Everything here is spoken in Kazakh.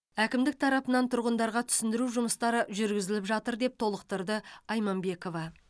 әкімдік тарапынан тұрғындарға түсіндіру жұмыстары жүргізіліп жатыр деп толықтырды айманбекова